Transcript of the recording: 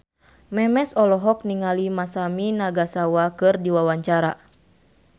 Memes olohok ningali Masami Nagasawa keur diwawancara